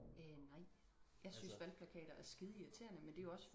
øh nej jeg synes valgplakater er skide irriterende men det er jo også